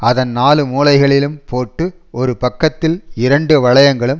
அதன் நாலு மூலைகளிலும் போட்டு ஒரு பக்கத்தில் இரண்டு வளையங்களும்